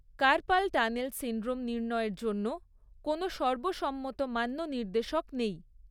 Carpal tunnel syndrome নির্ণয়ের জন্য কোনও সর্বসম্মত মান্য নির্দেশক নেই।